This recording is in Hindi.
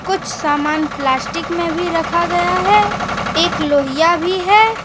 कुछ सामान प्लास्टिक में भी रखा गया है एक लोहिया भी है।